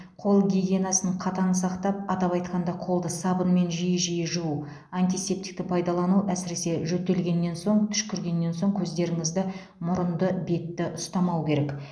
қол гигиенасын қатаң сақтап атап айтқанда қолды сабынмен жиі жиі жуу антисептикті пайдалану әсіресе жөтелгеннен сон түшкіргеннен соң көздеріңізді мұрынды бетті ұстамау керек